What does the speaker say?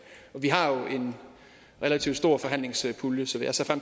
og vi har jo en relativt stor forhandlingspulje så jeg ser